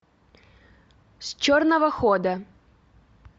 с черного хода